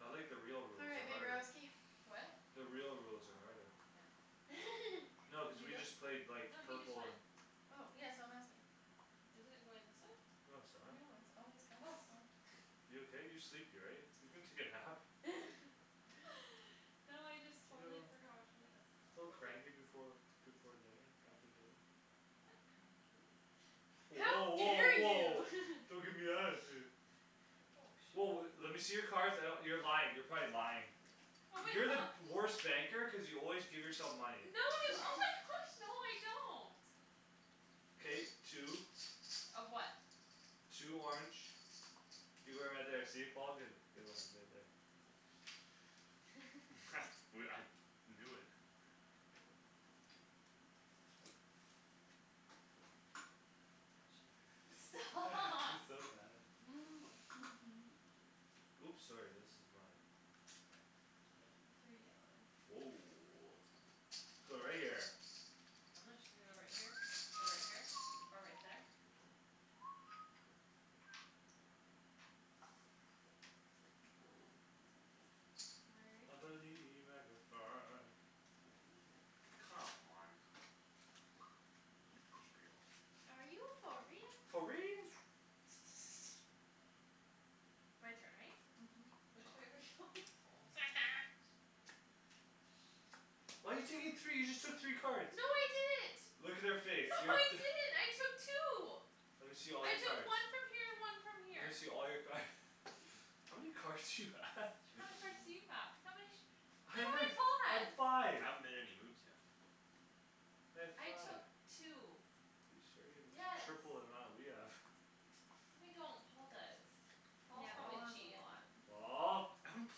I like the real all rules right they're my harder girlsky what the real rules are harder yeah no cuz did you we just go played like no he just purple went and oh yeah so I'm asking isn't it going this way? no no it's not it's always gone oh this way you okay you're sleepy right you can take a nap no I just totally forgot which way it was a little going cranky before before dinner after dinner I'm not cranky how woah woah dare woah you don't gimme attitude oh woah le- shit lemme see your cards I d- you're lying you're probably lying oh my you're the gosh worst banker cuz you always give yourself No. money Oh my gosh! No, no, I don't. K, two. Of what? Two orange. You're going right there. See Paul, good. I knew it. Stop. She's so mad at Oops, sorry. This is mine. Three yellow. Woah, going right there. I'm not su- Should I go right here? Or right here? Or right there? I believe I Come on. Are you for real? Are you for For real real? My turn, right? Mhm. Which way are we going? Oh, my goodness. Why you taking three? You just took three No, cards. I didn't. Look at her face No, I didn't, I took two. Lemme see all I your took cards. one from here and one from Lemme see here. all your card How many cards do you have? How many cards do you have? How many? Hey, wait, I have five. I haven't made any moves yet. I have I five. took two. You sure you the t- Yes. triple the amount we have No, I don't. Paul does. Paul's Yeah, Paul Paul, probably has a cheatin'. lot. Paul. I haven't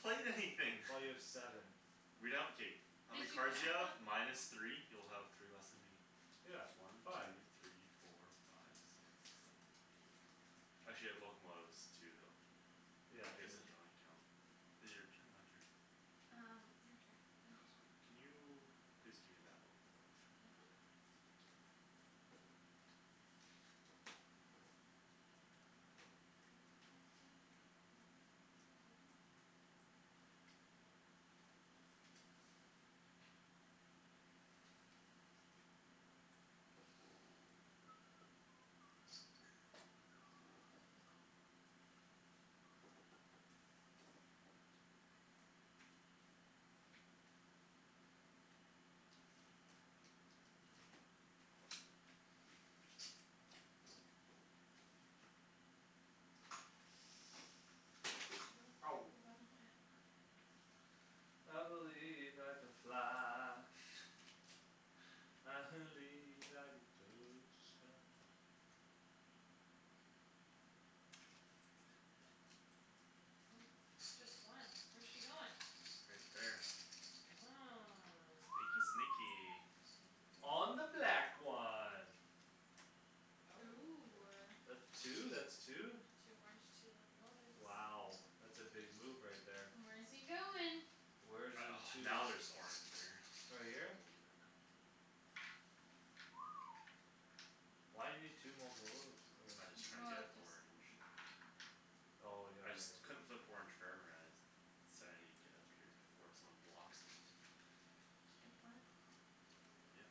played anything Well, you have seven. Read out, okay. How many Did you cards do you count have? them? Minus three? You'll have three less than me. Yeah, One, five. two, three, four, five Six, seven, eight, nine. actually I have locomotives too though. Yeah, I guess true. I Hmm should only count Is it your turn or my turn? Um, your turn I God, just went. can you please give me that locomotive. Mhm. Thank you. Did you go? Ow. No, You I going? haven't gone yet. I believe I can fly. I believe I can touch the sky. Okay. Oh, just one? Where's she goin'? Right there. Oh. Sneaky, sneaky. Sneaky, very On the black one. Ooh, Oh. ah. That two, that's two. Two orange, two locomotives. Wow. That's a big move right there. Where's he goin'? Where's I, in oh, two? now there's orange there. Right here? I believe it. Why you need two mocolotives or I just tryin' to Well, get just orange. Oh, yeah, I just right. couldn't flip orange So I need to get up here before someone blocks me. It's a good plan. Yeah.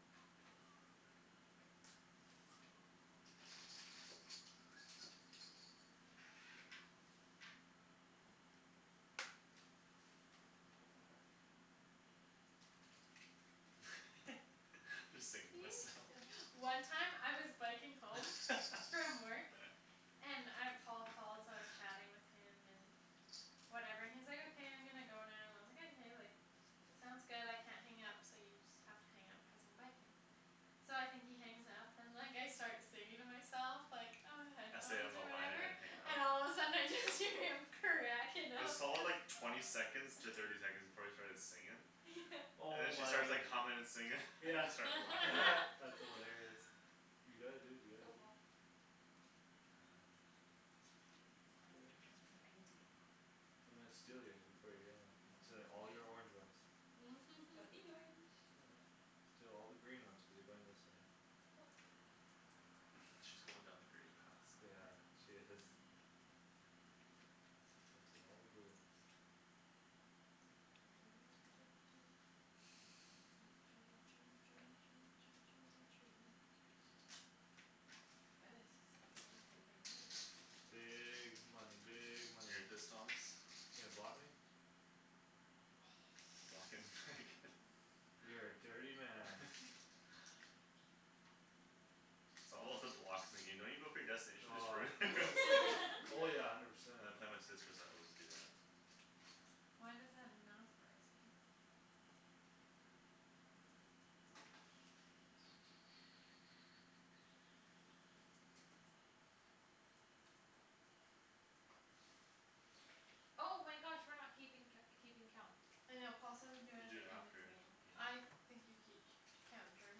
Just You singing to myself. sill- One time I was biking home from work and uh Paul called, so I was chatting with him and whatever and he's like, "okay I'm gonna go now" and I was like, "Okay, sounds good I can't hang up so you just have to hang up because I'm biking." So I think he hangs up and like I start singing to myself like, ah, I stayed on headphones the or line I whatever didn't hang up. And all of a sudden I just hear him cracking up there's all like cuz twenty second to thirty seconds before I started singin' Yeah. And Oh then she my. starts like hummin' and singin' and Yeah I start laughing. that's hilarious. You gotta do what you Go gotta do. Paul. Um. Now I don't I need to get cards. I'm gonna steal yours before you get them. I'm stealing all These your orange ones? ones. Don't need orange. Oh, yeah. Steal all the green ones cuz you're going this way. Yup. She's going down the grey path Yeah, somewhere. she is. Mhm. all the blue ones. My goodness, he's playing some big moves. Big money, big money. Thomas You gonna block me? Blockin' where I can. You're a dirty man. It's all about the blocks. In the game don't you go for your destination, just Oh. ruin it. Oh, yeah, I never said. When I play my sisters I always do that. Why does that not surprise me? Oh my gosh. We're not keeping co- keeping count. I know Paul said we could do You it do the it end of after the game. the game. I think you ke- Count during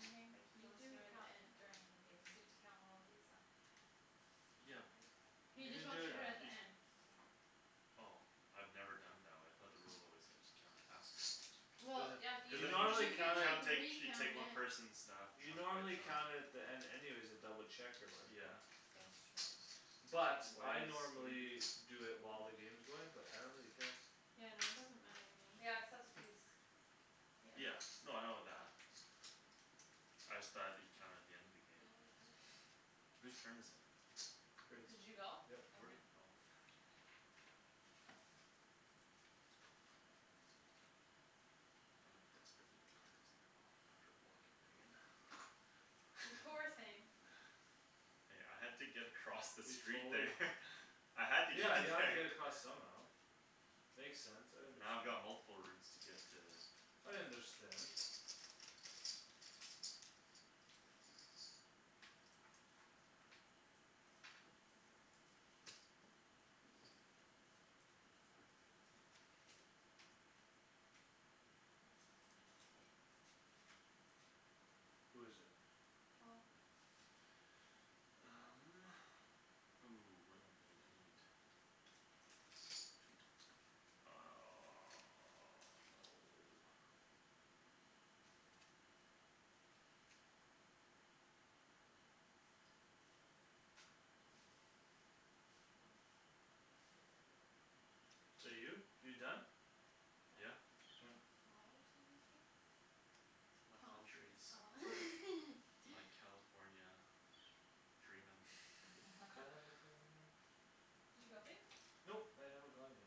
the game but he You wants to do do it at count the end. during the game cuz you have to count all of these up. Yeah. Like right He You can just do wants to it do it You at the af- just end. Okay. Oh. I've never done it that way. I thought the rules always said just count it after. There's Well Yeah, a you Cuz you then You can you I'm like just gonna count recount it at She take one it person's stuff. You Chunk know, I'm by gonna count chunk. it at the end anyways to double check your work Yeah. right That's true. But Why I is- What are you normally doing? Do it while the game's going but I don't really care. Yeah, no, it doesn't matter to Yeah, me. cuz that's what these Yeah. Yeah, Yeah. no, I know that. Oh. I just thought you'd count it at the end of the game. Yeah, we could. Who's turn is it? Did you go? Yep. Where'd okay. oh my cards are here I'm in desperate need of cards now. After blocking Megan. You poor thing. Hey, I had to get across the You street totally there. I had to get Yeah, to you have to there get across somehow. Makes sense, I Now I've understand. got multiple routes to get to I understand. Who is it? Paul. Um, ooh, what do I need? I need Two top no Is that you? You done? Is Yeah. that- You have flowers on your face? It's my Palm palm trees. Oh. trees. It's my California dreamin' California Did you go babe? Nope, I haven't gone yet. Okay.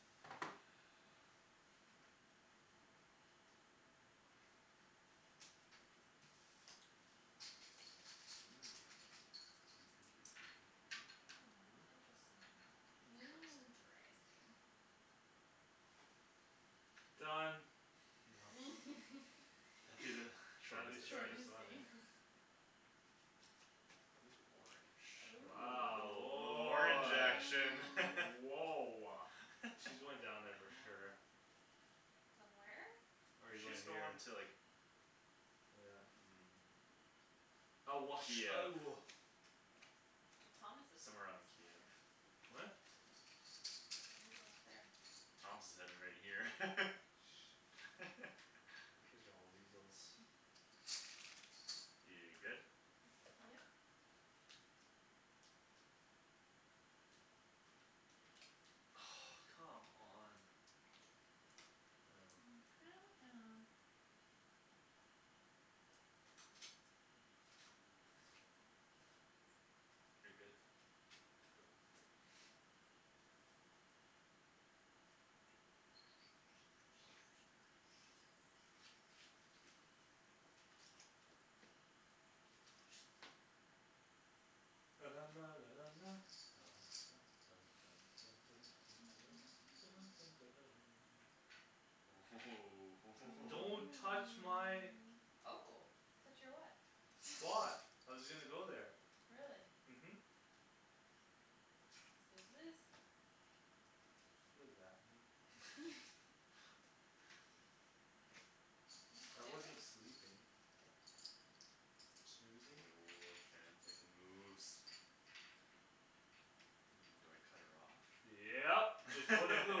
Mm. Mm, interesting. Interesting. Interesting. Done. That'd be the Shady's Shortest Shortest destina- shortest one, eh game. ah. Ooh, orange, ooh, a Wow, little a little orange woah action Ooh. Woah. All She's going down there for sure. right. Done where? No, Or you going she's here? going to like Yeah. Mm. I wash, Kiev. oh Well, Thomas is Somewhere on Kiev. What? You're going up there. Thomas is heading right here. Shh don't Cuz y'all weasels You good? Yep. Oh, come on. Oh. Oh. Oh, come on. You're good to go Don't Ooh touch my hoo Oh, touch your what? Spot. I was gonna go there. Really? Mhm. Snooze you lose. What does that mean? I wasn't sleeping. Snoozing. Woah, Shand's making moves. Um, do I cut her off? Yep, just put a blue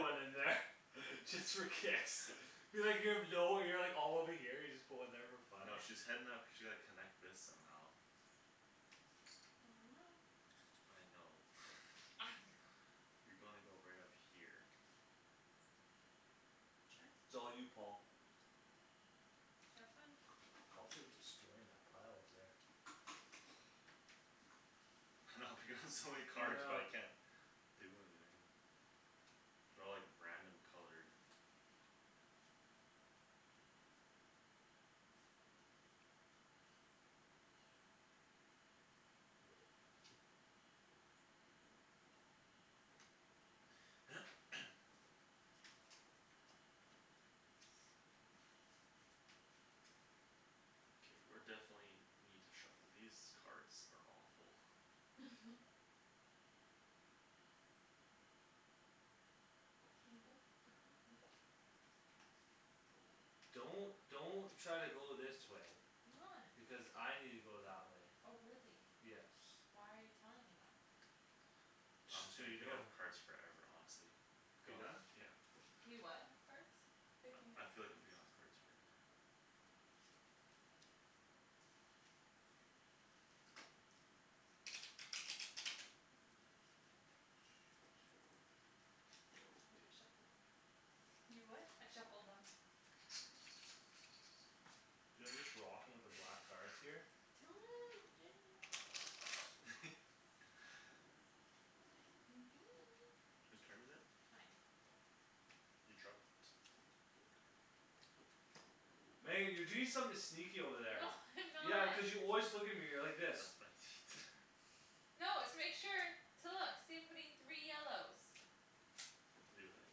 one in there. Just for kicks. All over here. You just put one there for fun. No, she's heading up she like connect this somehow I don't know. I know. I don't. I know. You gonna go right up here. Sure. it's all you Paul. Have fun. Paul's like destroying that pile over there. I know I'm picking up so many I cards but know. I can't do anything. They're all like random colored. Okay, we're definitely need to shuffle. These cards are awful. You go. Mhm. Don't don't try to go this way. I'm not. Because I need to go that way. Oh, really? Yes. Why are you telling me that? I'm Just just so gonna you pick know. up cards forever honestly. You done? Yeah. You what have cards? Picking I I up feel like I'm cards. picking up cards forever. Shoot. I already shuffled them. You what? I shuffled them. Do you know, I'm just rocking with the black cards here. Who's turn is it? Mine. Oh. You dropped. Your card. Meg, you're doing something sneaky over there. No I'm Yeah, not. cuz you always look at me like this. That's what I need. No, it's to make sure. To look. See I'm putting three yellows. Leave it like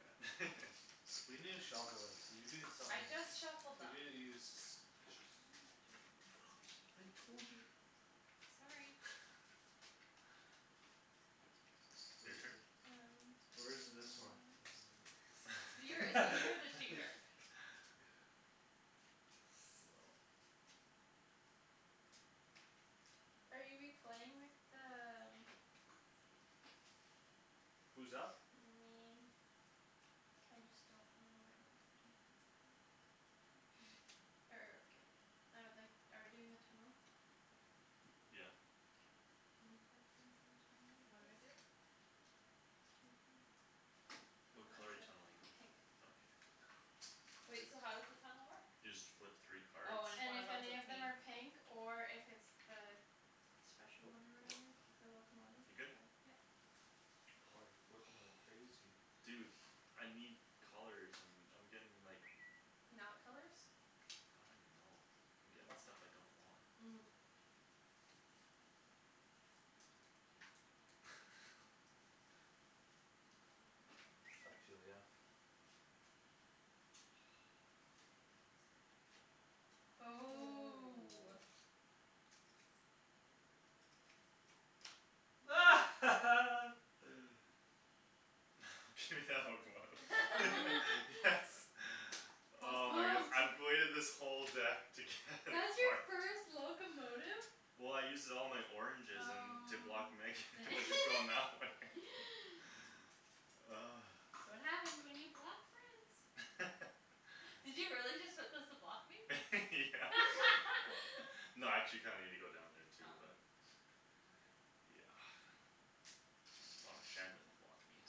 that We need to shuffle it. Cuz you doing I somethin' just shuffled You're them. doin', you're suspicious. I'm not doing anything suspicious. I told you. Sorry. Your Where's turn. th- Um, Where is yes. this one? You're see, you're the cheater. Are you we playing with the um who's up? Me. I just don't know what I wanna do. Er, ok, I would like- Are we doing the tunnel? Yeah. Okay. Can you put some for the tunnel then What do I please? do? Just take them. Oh, What Oh. I'm color are you tunneling in? good. Pink. Okay, you're good. Wait, so how does the tunnel work? You just flip three cards. Oh, and if And one of if 'em's a any of them pink are pink or if it's the Special one or The whatever locomotive. The locomotive You're good? then, yep. Paul you're flipping like Oh. crazy. Dude I need colors and I'm getting like Not colors I don't even know. I'm getting stuff I don't want. Mm. Ah, you ridiculous. Ooh. Ooh. Do that locomotive. Yes. Paul's Oh my goodness, pumped. I've waited this whole deck to get a That's your card first locomotive? Well, I used it all in my oranges and to block Megan. Oh to going that way dang That's what happens when you block friends. Did you really just put those to block me? Yeah. No, I actually kinda needed to go down there Oh, too but okay. Yeah. As long as Shan doesn't block me.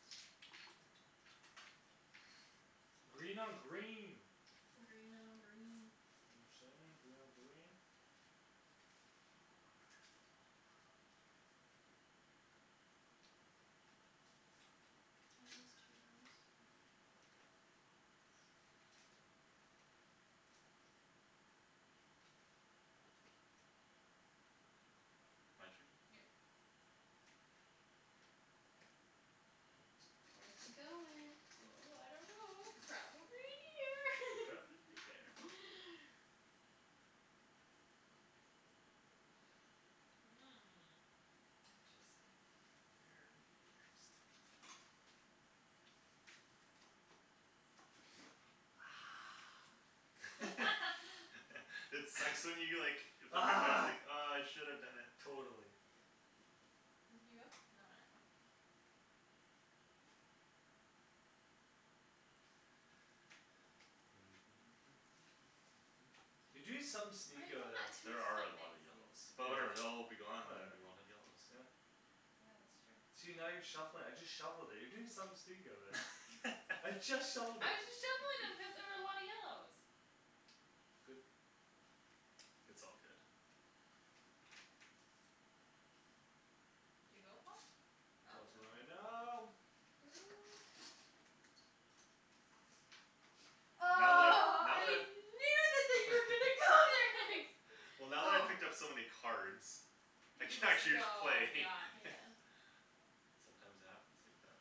Green on green. Green on green. You know what I'm sayin', green on green. Mhm. My turn? Yep. Where's he going? Ooh, ooh, I don't know. Probably here. Probably there. Hmm, Hmm, interesting. interesting. Very interesting. It sucks when you get like Ah. Ah, I should have done it. Yeah. Totally. Did you go? No, not yet. Okay. You doing something sneaky over I'm not there. doing There are a something lot of yellows. sneaky. But, yeah, But whatever. They'll all be gone, and whatever, then we won't have yellows. yeah. Yeah, that's true. See, now you're shuffling it. I just shuffled it. You're doing something sneaky over there. I I'm just just shuffled it. shuffling them cuz there was a lot of yellows. Good. It's all good. Did you go Paul? Oh. Good Paul's going right now. now. Ooh. Oh, Now that I've, now that I I've knew that that you were gonna go there next. Well, now that I Oh. picked up so many cards I You can can just actually go, play yeah Yeah. Sometimes it happens like that.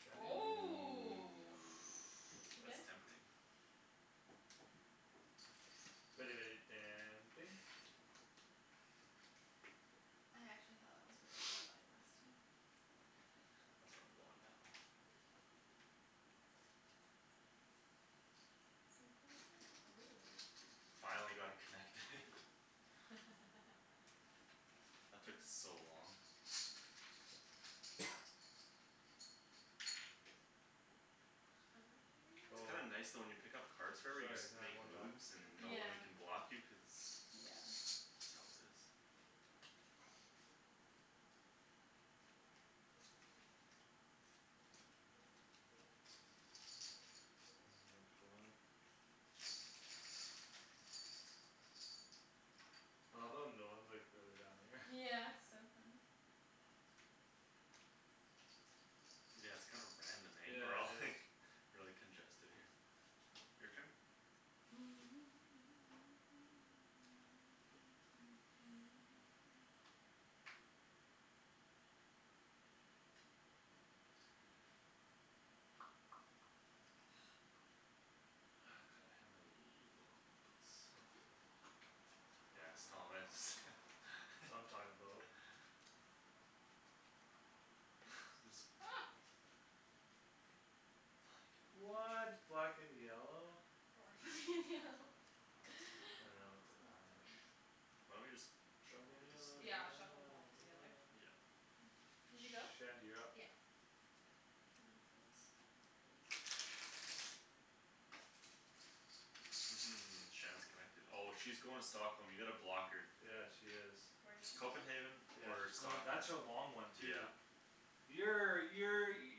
Shandy. Ooh, Ooh. Ooh, you good? that's tempting. Very, very tempting. I actually thought that was were you were going last time. That's where I'm going now. Hoo hoo Ooh. hoo Finally got it connected. That took Um. so long. How many did It's you Oh. kinda give me nice though when you pick up cards forever you just Sorry, can have makes one back? moves and Yeah. Yeah, no yeah. one can block you cuz that's how it is. End at four. I love how no one's like really down here. Yeah, it's so funny. Yeah, it's kinda random, eh, we're Yeah, all it is. like Really congested here. Your turn? Ah, freak. Ah, could I have a locomotive please? Mhm. Yes, Thomas That's what I'm talkin' about. There's a Oh. What black and yellow? Orange It's I know not it's a orange. funny. Why don't we just Black shuffle and these? yellow Yeah, shuffle 'em all together. Yeah. Did you go? Shandy, you're up. Yeah. Can I please have this? Shand's connected. Oh, she's going to Stockholm. You gotta block her. Yeah, she is. Where's she going? Copenhagen. Yeah, Or she's going. Stockholm, That's her long one too yeah. Yeah, yeah, you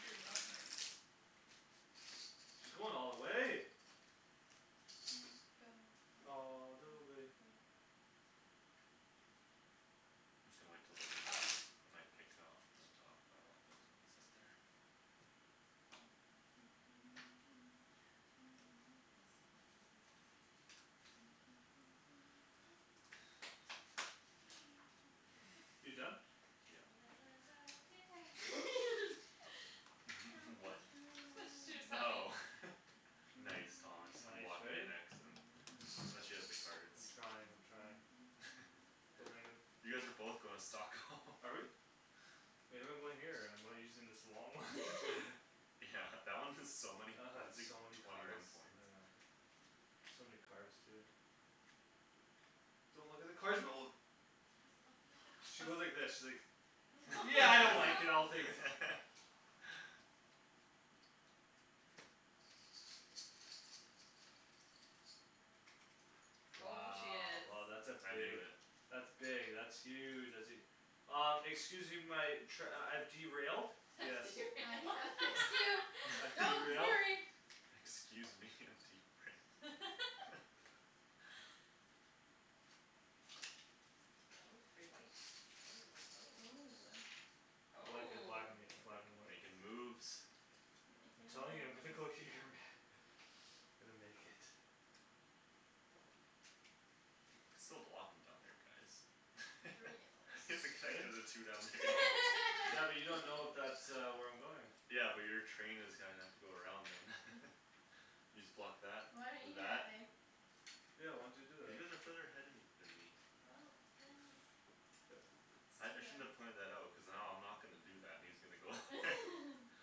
you're not nice. She's going all the way. Can go all All the the way. way I'm just gonna wait till those are done. Oh. I might pick up from the top. I don't like those ones up there. You done? You'll Yeah. never know dear How What? much That's what I she was love humming. Oh you. Nice. Thomas, I'm Nice, blocking you eh? next. I'm I'm not sure she has the cards. I'm trying, I'm trying. Go, Megan. You guys are both going to Stockholm. Are we? Maybe I'm going here and I'm using this long one Yeah That one is so many I had points, like, so many twenty one cards, I points. know. So many cards too. Don't look at the cards. I wasn't looking at the cards. She went like this. She's like No. Yeah, I don't like it, I'll No. take it. Oh, she Wow, is oh, that's a I knew big it. That's big, that's huge, that's e- Uh, excuse me my trai- I've derailed. Yes. I'm gonna fix you, I've don't derailed. worry. Excuse me, I'm derailed. Oh, three whites, oh, oh, Ooh, oh. ah. I like it black Oh. an- Make black and white but makin' moves I'm telling you I'm gonna go here, man. I'm gonna make it. You could still block him down there guys. Three Is it yellows Eh? connected the two down there? Yeah, but you don't know if that uh where I'm going Yeah, but your train is gonna have to go around them. You just block that Why don't you with do that. that babe? Yeah why don't you do Cuz you that? guys are further ahead of me than me Well, then Good. I I shouldn't have It's too long. pointed that out. Cuz now I'm not gonna do that, and he's gonna go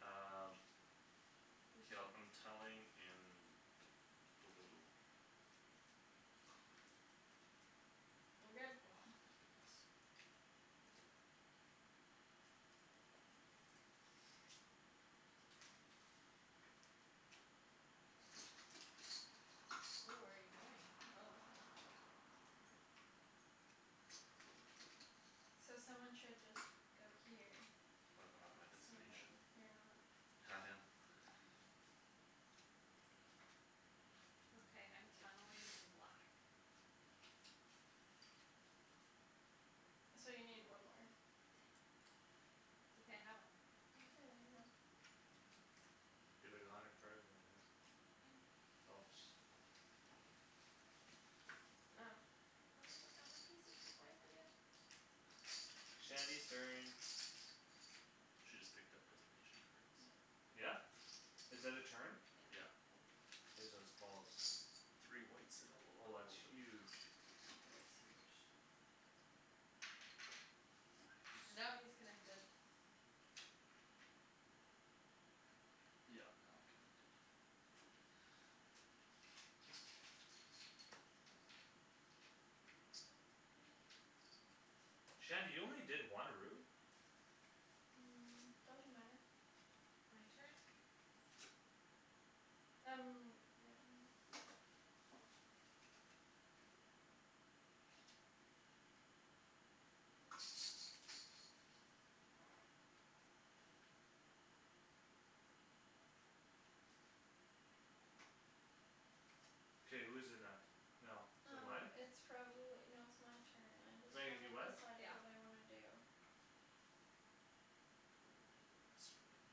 Um. Whose K, I'll turn I'm is it? tunneling in. Blue. I'm good. Oh, thank goodness. Ooh, where you going? Oh. So someone should just go here. What if I'm at my So then destination? you're not I No, I am am. not. Okay, I'm tunneling in black. So you need one more. it's okay. I have one. You have like a hundred cards in your hand. I know. Helps. Um, wait. Let me put down my pieces before I forget. Shandy's turn. She just picked up destination cards. Yep. Yeah? Is that a turn? Yeah. Yeah. Okay, so it's Paul's. Three whites and a Oh, that's locomotive. huge. That is huge. Nice. Now he is connected. Yeah now I'm connected. Shandy you only did one route? Um, doesn't matter. My turn? Um, yeah, maybe. K, who's it next now? Is it Um, mine? it's probably, no, it's my turn. I just Megan haven't you went? decided what Yeah. I wanna do. Oh, I screwed up my